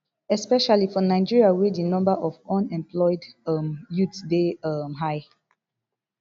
especially for nigeria wey di number of unemployed um youths dey um high